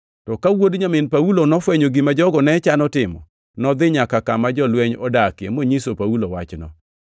To ka wuod nyamin Paulo nofwenyo gima jogo ne chano timo, nodhi nyaka kama jolweny odakie monyiso Paulo wachno.